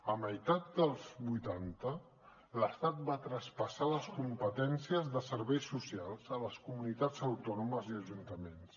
a meitat dels vuitanta l’estat va traspassar les competències de serveis socials a les comunitats autònomes i ajuntaments